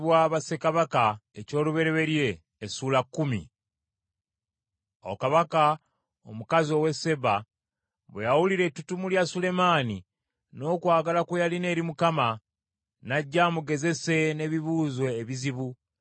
Awo kabaka omukazi ow’e Seeba bwe yawulira ettutumo lya Sulemaani n’okwagala kwe yalina eri Mukama , n’ajja amugezese n’ebibuuzo ebizibu.